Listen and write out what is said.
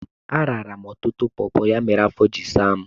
Arara m ọtụtụ pọpọ, ya mere afọ jiri saa m.